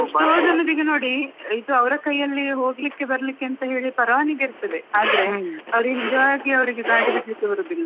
ಎಷ್ಟೋ ಜನರಿಗೆ ನೋಡಿ ಇದು ಅವ್ರ ಕೈಯಲ್ಲಿ ಹೋಗ್ಲಿಕ್ಕೆ ಬರ್ಲಿಕ್ಕೆ ಎಂತ ಹೇಳಿ ಪೆರಾನಿಗೆ ಇರ್ತದೆ, ಆದ್ರೆ ಅವ್ರಿಗೆ ನಿಜವಾಗಿ ಅವ್ರಿಗೆ ಗಡಿ ಬಿಡ್ಲಿಕ್ಕೆ ಬರುದಿಲ್ಲ.